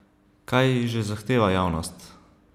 Kaj že zahteva javnost?